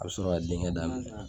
A bɛ sɔrɔ ka denkɛ daminɛ